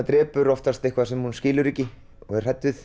drepur oftast eitthvað sem hún skilur ekki og er hrædd við